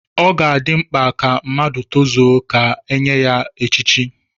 Ọ ga-adị mkpa ka mmadụ tozuo ka e nye ya echichi.